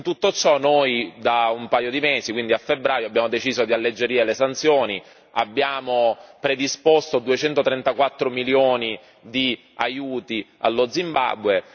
In tutto ciò noi da un paio di mesi quindi a febbraio abbiamo deciso di alleggerire le sanzioni, abbiamo predisposto 234 milioni di aiuti per lo Zimbabwe.